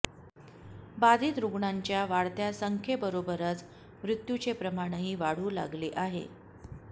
बाधित रुग्णांच्या वाढत्या संख्येबरोबरच मृत्यूचे प्रमाणही वाढू लागले आहे